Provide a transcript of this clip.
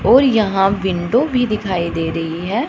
और यहां विंडो भी दिखाई दे रही है।